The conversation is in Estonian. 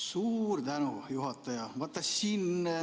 Suur tänu, juhataja!